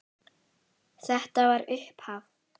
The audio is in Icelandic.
Þetta var upphaf.